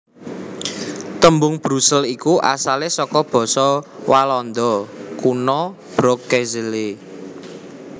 Tembung Brusel iku asalé saka basa Walanda Kuna Broekzele